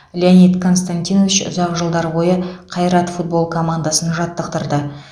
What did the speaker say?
леонид константинович ұзақ жылдар бойы қайрат футбол командасын жаттықтырды